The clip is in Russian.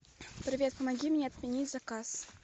привет помоги мне отменить заказ